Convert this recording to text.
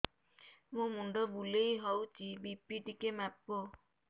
ମୋ ମୁଣ୍ଡ ବୁଲେଇ ହଉଚି ବି.ପି ଟିକେ ମାପ